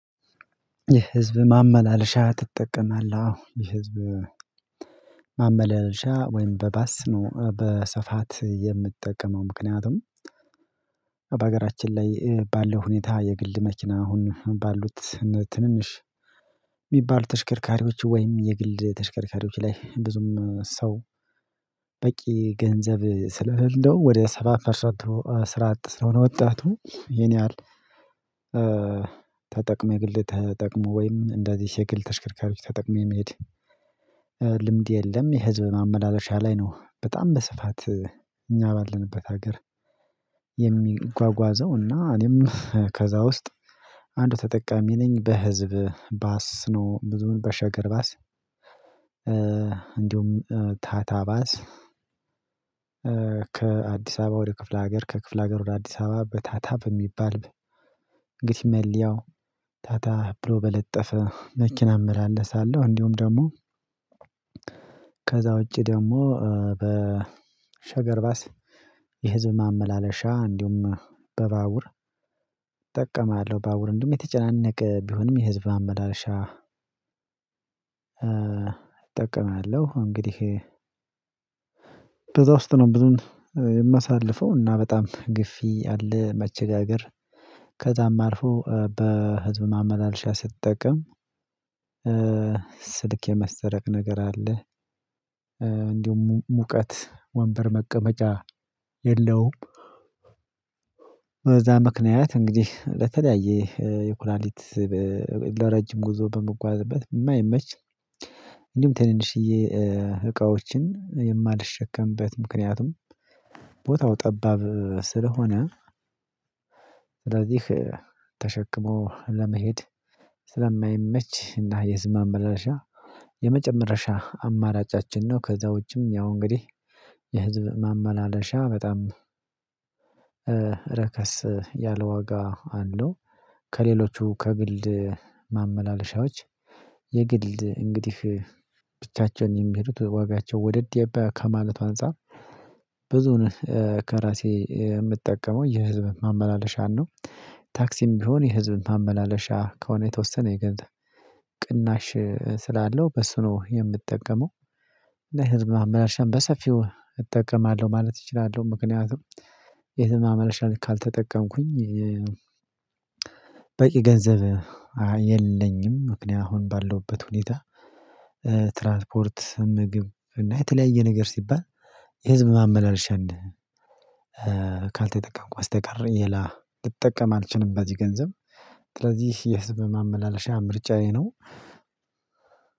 የህዝብ ማመላለሻ ትጠቀማለህ? አዎ የህዝብ ማመላለሻ ወይም በባስ ነው በስፋት የምጠቀመው። ምክንያቱም በሀገራችን ላይ ባለው ሁኔታ የግል መኪና አሁን ባሉት ትንንሽ የሚባሉ ተሽከርካሪዎች ወይም የግል ተሽከርካሪዎች ላይ ብዙም ሰው በቂ ገንዘብ ስለሌለው ወደ ሰባ ፐርሰንቱ ስራ አጥ ስለሆነ ወጣቱ ይሄን ያህል ተጠቅሞ የግል ተጠቅሞ ወይም እንደዚህ የግል ተሽከርካሪ ተጠቅሜ መሄድ ልምድ የለም። የህዝብ ማመላለሻ ላይ ነው በጣም በስፋት እኛ ባለንበት ሀገር የሚጓጓዘው እና እኔም ከዛ ውስጥ አንዱ ተጠቃሚ ነኝ በህዝብ ባስ ነው ብዙውን በሸገር ባስ። እንዲሁም ታታ ባስ ከአዲስ አበባ ወደ ክፍለ ሀገር ከክፍለ ሀገር ወደ አዲስ አበባ በታታ በሚባል እንግዲህ መለያው ታታ ብሎ በለጠፈ መኪና እመላለሳለሁ። እንዲሁም ደግሞ ከዛ ውጪ ደግሞ በሸገር ባስ የህዝብ ማመላለሻ እንዲሁም በባቡር እጥቀማለሁ ባቡር እንደውም የተጨናነቀ ቢሆንም የህዝብ ማመላለሻ እጠቀማለሁ። እንግዲህ በዛ ውስጥ ነው ብዝውን የማሳልፈው እና በጣም ግፊ አለ መቸጋገር ከዛም አልፎ በህዝብ ማመላለሻ ስትጠቀም ስልክ የመሰረቅ ነገር አለህ እንዲሁም ሙቀት ወንበር መቀመጫ የለውም። በዛ ምክንያት እንግዲህ በተለያየ የኩላሊት ለረጅም ጉዞ በምጓዝበት የማይመች እንዲሁም ትንንሽዬ እቃዎችን የማልሸከምበት ምክንያቱም ቦታው ጠባብ ስለሆነ ስለዚህ ተሸክሞ ለመሄድ ስለማይመች እና የህዝብ ማመላለሻ የመጨረሻ አማራጫችን ነው። ከዛ ውጪም ያው እንግዲህ የህዝብ ማመላለሻ በጣም ረከስ ያለ ዋጋ አለው። ከሌሎቹ ከግል ማመላለሻዎች የግል እንግዲህ ብቻቸውን የሚሄዱት ዋጋቸው ወደድ ከማለቱ አንፃር ብዝውን ከራሴ የምጠቀመው የህዝብ ማመላለሻን ነው። ታክሲም ቢሆን የህዝብ ማመላለሻ ከሆነ የተወሰነ የገንዘብ ቅናሽ ስላለው በሱ ነው የምጠቀመው። እና የህዝብ ማመላለሻን በሰፊው እጠቀማለሁ ማለት እችላለሁ። ምክንያቱም የህዝብ ማመላለሻን ካልተጠቀምኩኝ በቂ ገንዘብ የለኝም ምክንያት አሁን ባለውበት ሁኔታ ትራንስፖርት ምግብ እና የተለያየ ነገር ሲባል የህዝብ ማመላለሻን ካልተጠቀምኩ በስተቀር ሌላ ልጠቀም አልችልም። በዚህ ገንዘብ ስለዚህ የህዝብ ማመላለሻ ምርጫዬ ነው።